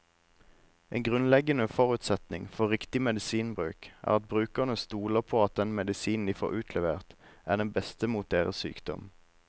En grunnleggende forutsetning for riktig medisinbruk er at brukerne stoler på at den medisinen de får utlevert, er den beste mot deres sykdom.